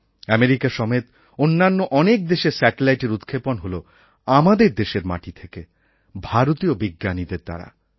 America সমেত অন্যান্য অনেক দেশের স্যাটেলাইটএর উৎক্ষেপণ হল আমাদের দেশের মাটি থেকে ভারতীয় বিজ্ঞানীদের দ্বারা